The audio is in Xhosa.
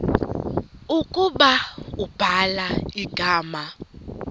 ukuba ubhala igama